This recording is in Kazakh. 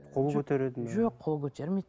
қол көтереді ме жоқ қол көтермейді